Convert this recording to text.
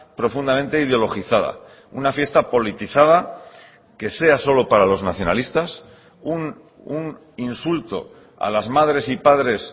profundamente ideologizada una fiesta politizada que sea solo para los nacionalistas un insulto a las madres y padres